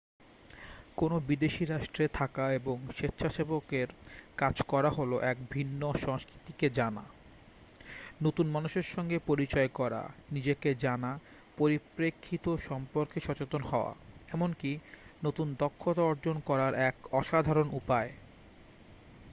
কোনো বিদেশী রাষ্ট্রে থাকা এবং স্বেচ্ছাসেবকের কাজ করা হল এক ভিন্ন সংস্কৃতিকে জানা নতুন মানুষের সঙ্গে পরিচয় করা নিজেকে জানা পরিপ্রেক্ষিত সম্পর্কে সচেতন হওয়া এমনকী নতুন দক্ষতা অর্জন করার এক অসাধারণ উপায়